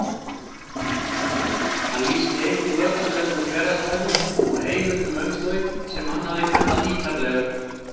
Hann lýsti einnig öllum þessum hverasvæðum og heimildum um þau sem hann hafði kannað ítarlega.